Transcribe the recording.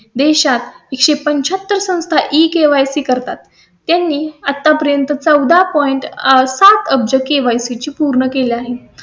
देशात एक पंचाहत्तर संस्था इ करतात. त्यांनी आतापर्यंत चौदा point आह, सात अब्ज केवायसी KYC ची पूर्ण केली आहेत